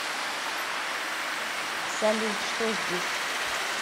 салют что здесь